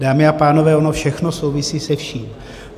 Dámy a pánové, ono všechno souvisí se vším.